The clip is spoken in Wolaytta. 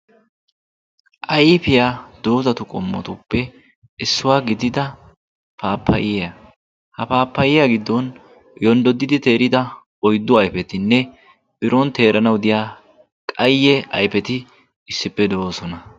ayfiyaa doozatu qommotuppe issuwaa gidida paappayiya ha paappayiya giddon yonddodidi teerida oyddu ayfetinne piron teeranawu diya qayye ayfeti issippe do'oosona.